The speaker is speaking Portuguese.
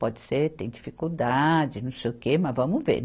Pode ser, tem dificuldade, não sei o que, mas vamos ver.